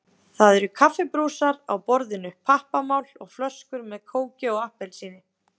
Það eru kaffibrúsar á borðinu, pappamál og flöskur með kóki og appelsíni.